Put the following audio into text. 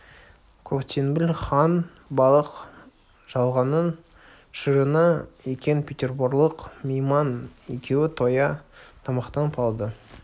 көктеңбіл хан балық жалғанның шырыны екен петерборлық мейман екеуі тоя тамақтанып алды